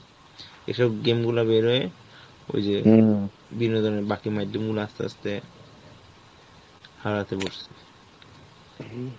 এইসব game গুলা বের হয়ে ওইযে বিনোদনের বাঁকি মাইধ্যমগুলো আস্তে আস্তে হারাতে বসেছে.